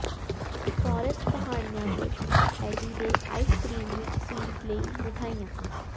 forest ਪਹਾੜੀਆਂ ਵਿਚ ਐਡੀ ਦੇ ਆਈਸ ਕ੍ਰੀਮ ਵਿਚ ਸਵੀਟ ਲਈ ਮਿਠਾਈਆਂ